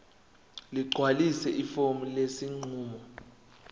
ligcwalise ifomu lesinqumo